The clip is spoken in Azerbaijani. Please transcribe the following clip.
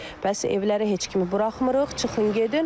Bəs evlərə heç kimi buraxmırıq, çıxın gedin.